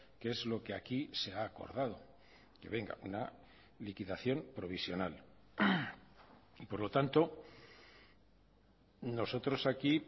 que es lo que aquí se ha acordado que venga una liquidación provisional y por lo tanto nosotros aquí